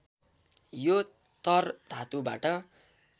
यो तर् धातुबाट